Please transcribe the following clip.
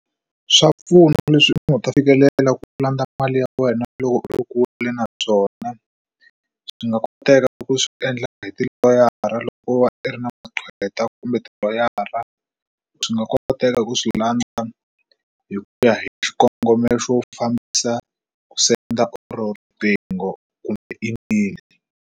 Swa pfuna leswi u ta fikelela ku landza mali ya wena loko u ri kule naswona swi nga koteka loko swi endla hi tiloyara loko va i ri na maqweta kumbe tiloyara swi nga koteka ku swi landza hi ku ya hi xikongomelo xo fambisa ku senda or riqingho kumbe email.